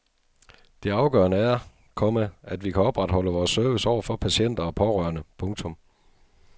Det afgørende er, komma at vi kan opretholde vores service over for patienter og pårørende. punktum